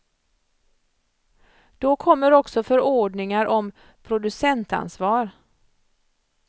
Då kommer också förordningar om producentansvar.